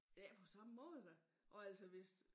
Ikke på samme måde da og altså hvis